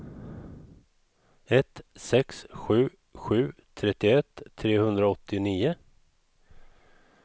ett sex sju sju trettioett trehundraåttionio